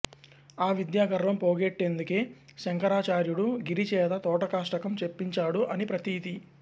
ఆ విద్యాగర్వం పోగొట్టేందుకే శంకరాచార్యుడు గిరి చేత తోటకాష్టకం చెప్పించాడు అని ప్రతీతి